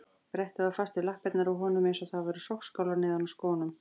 Brettið var fast við lappirnar á honum eins og það væru sogskálar neðan í skónum.